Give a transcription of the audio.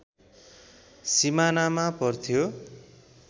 सिमानामा पर्थ्यो